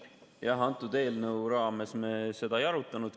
Jah, antud eelnõu raames me seda ei arutanud.